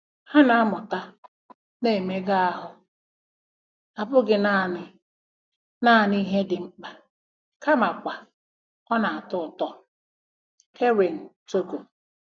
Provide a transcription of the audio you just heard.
Ha na-amụta na mmega ahụ abụghị naanị naanị ihe dị mkpa kamakwa ọ na-atọ ụtọ. — Keren, Togo.